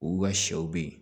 U ka sɛw be yen